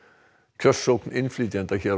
kjörsókn innflytjenda hér á